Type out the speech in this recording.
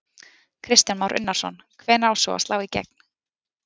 Kristján Már Unnarsson: Hvenær á svo að slá í gegn?